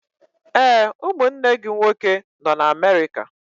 Ee, ụmụnne gị nwoke nọ na Amerika.